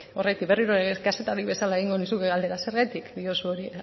horregatik berriro ere kazetari bezala egingo nizuke galdera zergatik diozu hori